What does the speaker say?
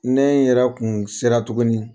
Ne yɛrɛ kun sera tuguni.